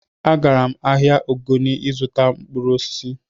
Agara m ahịa Ogoni ịzụta mkpụrụ osisi